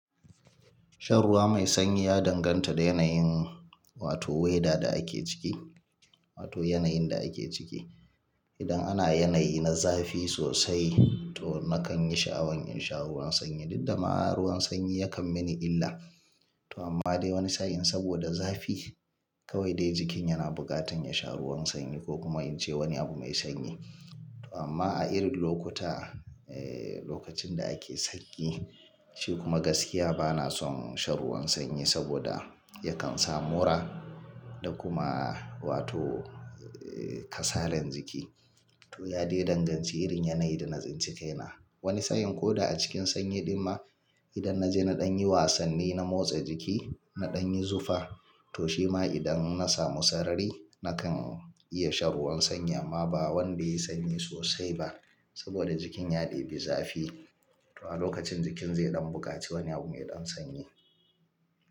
Shan ruwa mai sanyi ya danganta da yanayin, wato weda da ake ciki, wato yanayin da ake ciki. Idan ana yanayi na zafi sosai to nakan yi sha'awan in sha ruwan sanyi. Diddama ruwan sanyi yakan mini illa. To amma dai wani sa'in saboda zafi kawai dai jikin yana bukatan ya sha ruwan sanyi ko kuma in ci wani abu mai sanyi. To amma a irin lokuta, lokacin da ake sanyi shi kuma gaskiya bana son shan ruwan sanyi saboda yakan sa mura da kuma wato kasalar jiki. To ya dai danganci irin yanayin da na tsinci kaina. Wani sa'in ko da a cikin sanyi din ma idan na je naɗan yi wasanni, na motsa jiki, naɗan yi zufa to shi ma idan na samu sarari nakan iya shan ruwan sanyi amma ba wanda yayi sanyi sosai ba saboda jikin ya debi zafi. To a lokacin jikin zaiɗan buƙaci wani abu maiɗan sanyi.